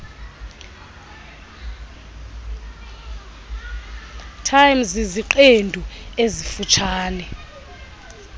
time ziziqendu ezifutshane